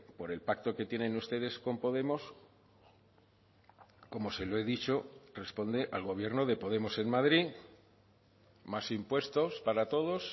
por el pacto que tienen ustedes con podemos como se lo he dicho responde al gobierno de podemos en madrid más impuestos para todos